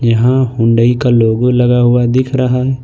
यहां हुंडई का लोगो लगा हुआ दिख रहा है।